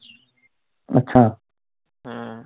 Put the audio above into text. ਹਮ